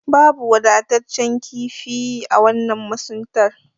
Babu wadatacce kifi a wannan masuntar.